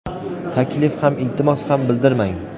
taklif ham iltimos ham bildirmang.